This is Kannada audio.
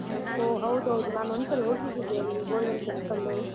ಹಾ ಹೌದೌದು, ನಾನೊಂದ್ಸಲ ಹೋಗಿದ್ದಿದ್ದೆ ಅಲ್ಲಿ golden temple.